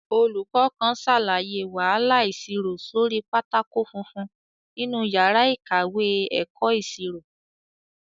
Olùkọ́ kan ṣàlàyé wàhálà ìṣirò sórí pátákó funfun nínú yàrá ìkàwé ẹ̀kọ́ ìṣirò